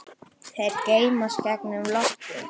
Þeir geysast gegnum loftið.